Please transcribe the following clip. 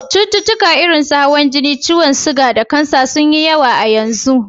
Cututtukan irin su: hawan jini, ciyon siga da kansa sun yi yawa yanzu.